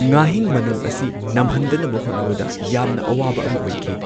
ꯉꯥꯍꯤꯡ ꯃꯅꯝ ꯑꯁꯤ ꯅꯝꯍꯟꯗꯅꯕ ꯍꯣꯠꯅꯕꯗ ꯌꯥꯝꯅ ꯑꯋꯥꯕ ꯑꯃ ꯑꯣꯏꯈꯤ꯫